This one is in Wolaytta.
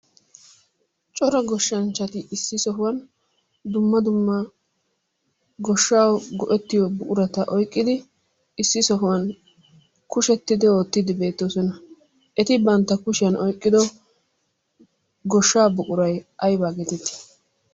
Cora goshshanchati issi sohuwan dumma dumma goshshawu go'ettiyo buqurata oyqqidi issi sohuwan kushettidi ootiidi beetoososna. Eti bantta kushiyan oyqqido goshaa buquray ayba geetettii?